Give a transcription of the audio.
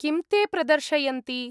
किं ते प्रदर्शयन्ति?